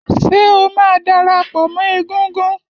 Ṣé o máa darapọ̀ mọ́ égúngún?